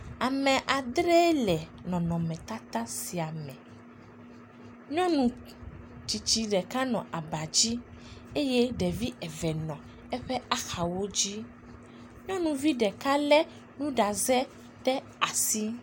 Ame adre le nɔnɔmetata sia me. Nyɔnu tsitsi ɖeka nɔ aba dzi eye ɖevi eve nɔ eƒe axawo dzi. Nyɔnuvi ɖeka le nuɖaze ɖe asi.